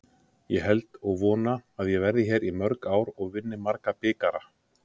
Ég held og vona að ég verði hér í mörg ár og vinni marga bikara.